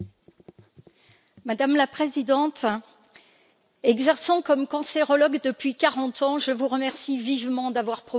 Madame la Présidente, exerçant comme cancérologue depuis 40 ans, je vous remercie vivement d'avoir proposé ce débat.